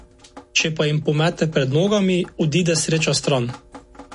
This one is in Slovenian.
Če pa se jima pomete pred nogama, odide sreča stran.